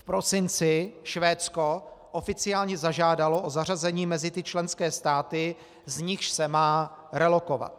V prosinci Švédsko oficiálně zažádalo o zařazení mezi ty členské státy, z nichž se má relokovat.